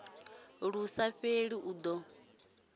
lu sa fheli i do